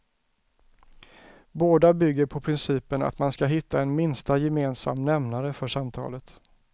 Båda bygger på principen att man ska hitta en minsta gemensam nämnare för samtalet.